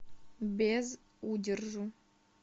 без удержу